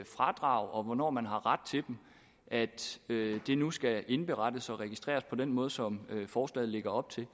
fradrag og hvornår man har ret til dem da de nu skal indberettes og registreres på den måde som forslaget lægger op til